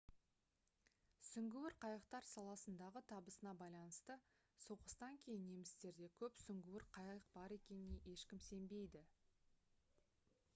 сүңгуір қайықтар саласындағы табысына байланысты соғыстан кейін немістерде көп сүңгуір қайық бар екеніне ешкім сенбейді